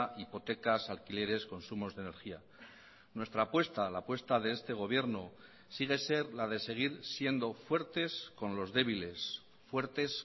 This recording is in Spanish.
hipotecas alquileres consumos de energía nuestra apuesta la apuesta de este gobierno sigue ser la de seguir siendo fuertes con los débiles fuertes